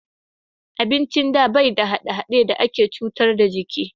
Abincin da bai da hade-hade da ke cutar da jiki